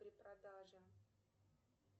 при продаже